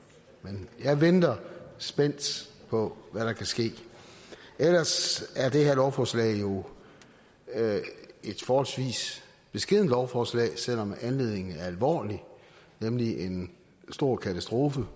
men jeg venter spændt på hvad der kan ske ellers er det her lovforslag jo et forholdsvis beskedent lovforslag selv om anledningen er alvorlig nemlig en stor katastrofe